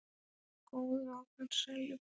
Hann bjó góðu og farsælu búi.